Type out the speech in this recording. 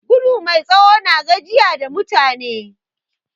Gudu mai tsawo na gajiya da mutum